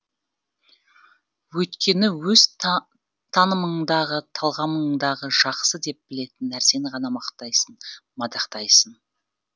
өйткені өз танымыңдағы талғамыңдағы жақсы деп білетін нәрсені ғана мақтайсың мадақтайсың